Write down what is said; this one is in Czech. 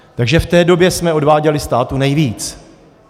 Takže v té době jsme odváděli státu nejvíc.